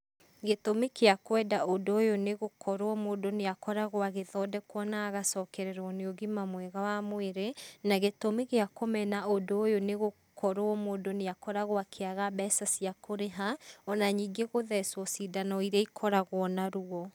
Gĩtũmi kĩa kwenda ũndũ ũyũ nĩ gũkorwo mũndũ nĩ akoragwo agĩthondekwo na agacokererwo nĩ ũgima mwega wa mwĩrĩ. Na gĩtũmi gĩa kũmena ũndũ ũyũ nĩ gũkorwo mũndũ nĩ akoragwo akĩaga mbeca cia kũrĩha, ona nyingĩ gũthecwo cindano iria ikoragwo na ruo.